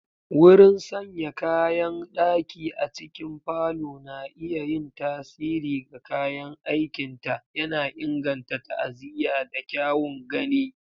Wurin sanya kayan daki a cikin parlor na iya yin tasiri ga kayan aikinta, yana inganta ta'aziyya da kyawun gani.